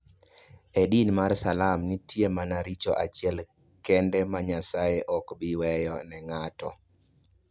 E din mar Islam, nitie mana richo achiel kende ma Nyasaye ok bi weyo ne ng'ato.